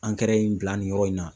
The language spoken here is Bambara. in bila nin yɔrɔ in na